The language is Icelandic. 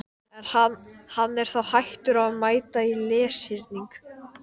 Krakkarnir standa enn kringum stólinn minn og fylgjast með samtalinu.